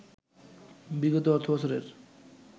বিগত অর্থবছরের